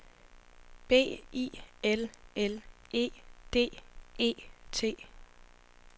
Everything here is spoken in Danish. B I L L E D E T